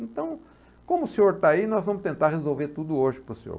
Então, como o senhor está aí, nós vamos tentar resolver tudo hoje para o senhor.